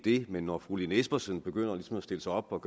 i men når fru lene espersen ligesom begynder at stille sig op og